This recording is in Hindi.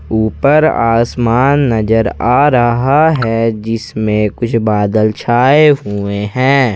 ऊपर आसमान नजर आ रहा है जिसमें कुछ बादल छाए हुए हैं।